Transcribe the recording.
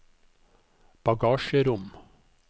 bagasjerom